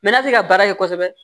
Mɛ n'a tɛ ka baara ye kosɛbɛ